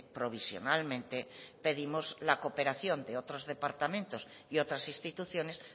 provisionalmente pedimos la cooperación de otros departamentos y otras instituciones